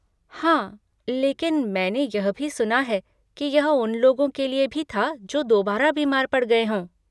हाँ, लेकिन मैंने यह भी सुना है कि यह उन लोगों के लिए भी था जो दोबारा बीमार पड़ गये हों।